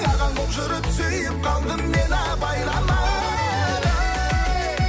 ағаң болып жүріп сүйіп қалдым мен абайламай